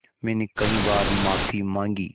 मैंने कई बार माफ़ी माँगी